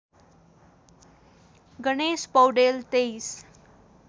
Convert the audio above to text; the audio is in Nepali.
गणेश पौडेल २३